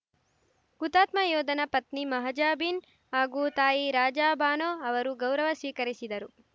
ಹುತಾತ್ಮ ಯೋಧನ ಪತ್ನಿ ಮಹಾಜಬೀನ್‌ ಹಾಗೂ ತಾಯಿ ರಾಜಾ ಬಾನೋ ಅವರು ಗೌರವ ಸ್ವೀಕರಿಸಿದರು